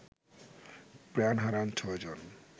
প্রাণ হারান ৬ জন